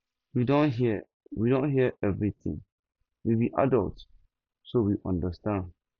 we don hear we don hear everything we be adults so we understand